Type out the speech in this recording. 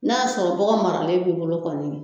N'a y'a sɔrɔ bɔgɔ maralen b'i bolo kɔni.